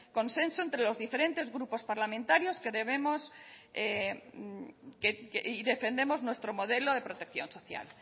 consenso entre los diferentes grupos parlamentarios que debemos y defendemos nuestro modelo de protección social